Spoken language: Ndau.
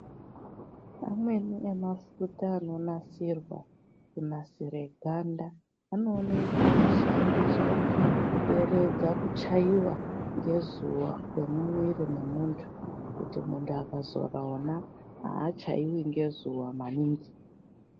Amweni e mafuta ano nasirwa kunasire ganda ano oneke eishandiswa kuderedza ku chaiwa nge zuva kwe mumwiri me muntu kuti muntu akazora wona achaiwi nge zuva maningi.